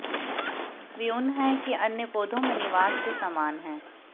वे उन है कि अन्य पौधों में निवास के समान हैं